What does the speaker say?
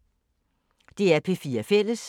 DR P4 Fælles